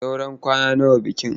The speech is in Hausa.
Saura kwana nawa bikinki?